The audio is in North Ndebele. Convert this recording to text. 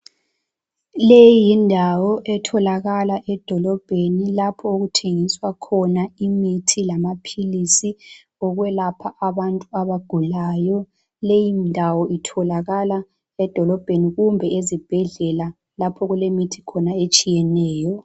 Leyi yindawo etholakala edolobheni lapho okuthengiswa khona imithi lamaphilisi okwelapha abantu abagulayo, leyi ndawo itholakala edolobheni kumbe ezibhedlela lapho okulemithi khona etshiyeneyo.